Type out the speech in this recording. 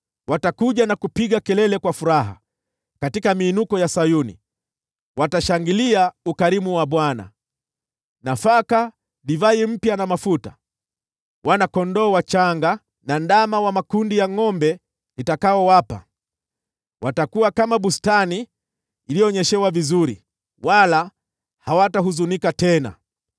Watakuja na kupiga kelele kwa furaha katika miinuko ya Sayuni; watashangilia ukarimu wa Bwana : nafaka, divai mpya na mafuta, wana-kondoo wachanga na ndama wa makundi ya ngʼombe nitakaowapa. Watakuwa kama bustani iliyonyeshewa vizuri, wala hawatahuzunika tena.